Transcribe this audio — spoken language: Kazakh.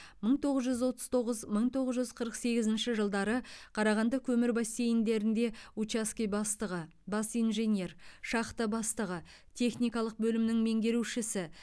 мың тоғыз жүз отыз тоғыз мың тоғыз жүз қырық сегізінші жылдары қарағанды көмір бассейндерінде учаске бастығы бас инженер шахта бастығы техникалық бөлімінің меңгерушісі